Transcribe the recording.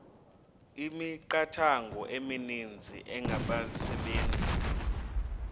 imithqtho emininzi engabaqbenzi